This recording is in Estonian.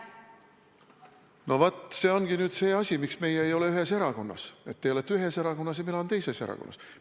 No vot, see ongi nüüd see põhjus, miks meie ei ole ühes erakonnas – teie olete ühes erakonnas ja mina olen teises erakonnas.